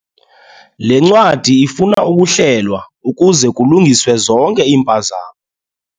Le ncwadi ifuna ukuhlelwa ukuze kulungiswe zonke iimpazamo.